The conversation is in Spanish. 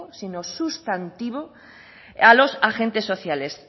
sino sustantivo a los agentes sociales